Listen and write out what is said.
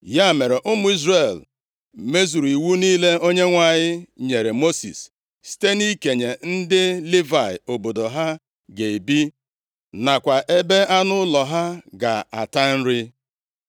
Ya mere, ụmụ Izrel mezuru iwu niile Onyenwe anyị nyere Mosis site nʼikenye ndị Livayị obodo ha ga-ebi, nakwa ebe anụ ụlọ ha ga-ata nri.